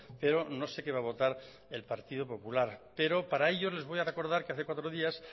pero no sé qué va a votar el partido popular pero para ello les voy a recordar que hace cuatro días